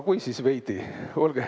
Kui, siis veidi.